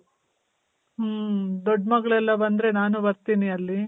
ಮ್ಮ್, ದೊಡ್ ಮಗಳೆಲ್ಲ ಬಂದ್ರೆ ನಾನು ಬರ್ತೀನಿ ಅಲ್ಲಿ.